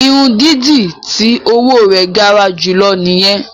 Irun dídì ti owo rẹ gara julọ nìyẹn.